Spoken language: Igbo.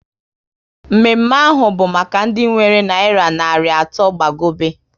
Mme mme ahụ bụ maka ndị nwere nayira narị atọ gbagobe